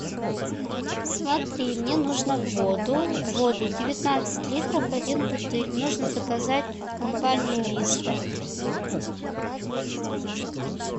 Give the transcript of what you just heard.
смотри мне нужно воду воду девятнадцать литров один бутыль нужно заказать в компании виста